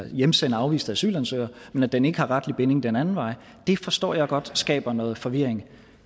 hjemsende afviste asylansøgere men at den ikke har retlig binding den anden vej det forstår jeg godt skaber noget forvirring